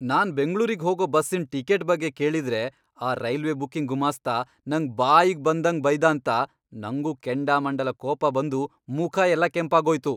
ನಾನ್ ಬೆಂಗ್ಳೂರಿಗ್ ಹೋಗೋ ಬಸ್ಸಿನ್ ಟಿಕೆಟ್ ಬಗ್ಗೆ ಕೇಳಿದ್ರೆ ಆ ರೈಲ್ವೆ ಬುಕಿಂಗ್ ಗುಮಾಸ್ತ ನಂಗ್ ಬಾಯಿಗ್ ಬಂದಂಗ್ ಬೈದಾಂತ ನಂಗೂ ಕೆಂಡಾಮಂಡಲ ಕೋಪ ಬಂದು ಮುಖ ಎಲ್ಲ ಕೆಂಪಾಗೋಯ್ತು.